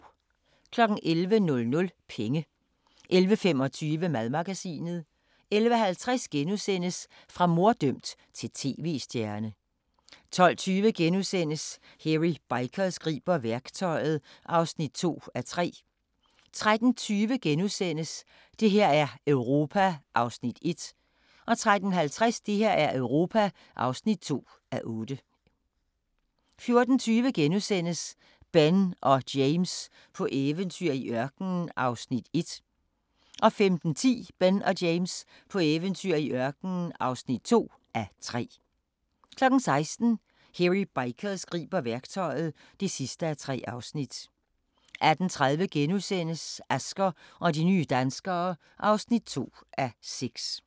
11:00: Penge 11:25: Madmagasinet 11:50: Fra morddømt til tv-stjerne * 12:20: Hairy Bikers griber værktøjet (2:3)* 13:20: Det her er Europa (1:8)* 13:50: Det her er Europa (2:8) 14:20: Ben og James på eventyr i ørkenen (1:3)* 15:10: Ben og James på eventyr i ørkenen (2:3) 16:00: Hairy Bikers griber værktøjet (3:3) 18:30: Asger og de nye danskere (2:6)*